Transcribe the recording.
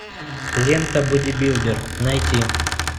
лента бодибилдер найти